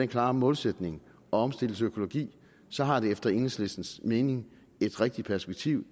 klare målsætning at omstille til økologi så har det efter enhedslistens mening et rigtigt perspektiv